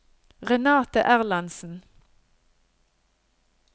Renate Erlandsen